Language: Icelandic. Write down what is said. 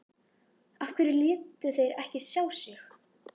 Af hverju létu þeir ekki sjá sig?